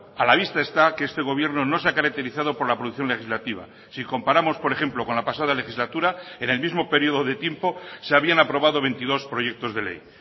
a la vista está que este gobierno no se ha caracterizado por la producción legislativa si comparamos por ejemplo con la pasada legislatura en el mismo periodo de tiempo se habían aprobado veintidós proyectos de ley